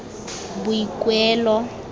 boikuelo